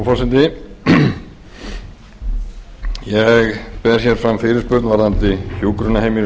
herra forseti ég ber hér fram fyrirspurn varðandi hjúkrunarheimili í